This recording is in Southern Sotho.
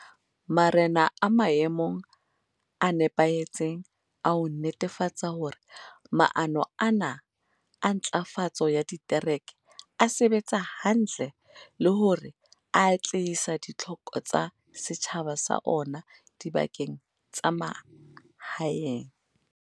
Marena a maemong a nepahetseng a ho netefatsa hore maano ana a ntlafatso ya ditereke a sebetsa hantle le hore a atlehisa ditlhoko tsa setjhaba sa ona dibakeng tsa mahaeng.